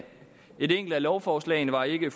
et af lovforslagene var ikke